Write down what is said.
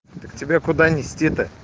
так тебе куда нести то